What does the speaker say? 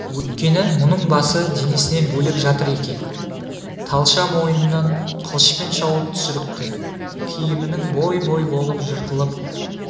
өйткені мұның басы денесінен бөлек жатыр екен талша мойнынан қылышпен шауып түсіріпті киімінің бой-бой болып жыртылып